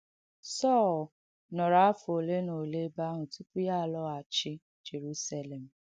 Sọl nọ̀rọ̀ āfọ̀ ọlé na ọlé ebe àhụ̀ tùpụ̀ ya àlọ̀ghàchī Jèrùsélèm.